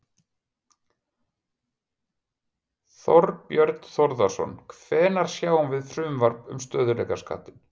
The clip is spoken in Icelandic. Þorbjörn Þórðarson: Hvenær sjáum við frumvarp um stöðugleikaskattinn?